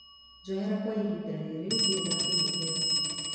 Njohera kwa ihinda rĩrĩ ndirĩ na thimũ ĩyo